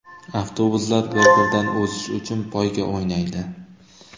Avtobuslar bir-biridan o‘zish uchun poyga o‘ynaydi.